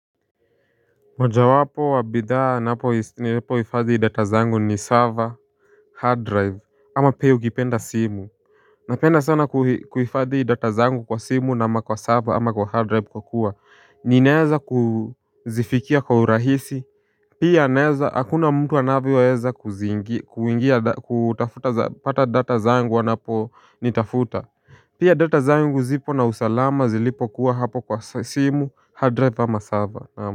Moja wapo wa bidhaa napo ifadhi data zangu ni server, hard drive ama pia ukipenda simu. Napenda sana kuifadhi data zangu kwa simu na ama kwa server ama kwa hard drive kwa kuwa ni naeza kuzifikia kwa urahisi. Pia naeza hakuna mtu anavyoweza kuingia kutafuta pata data zangu wanapo nitafuta. Pia data zangu zipo na usalama zilipo kuwa hapo kwa simu hard drive ama server naam.